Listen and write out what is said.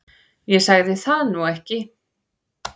Ég sagði það nú ekki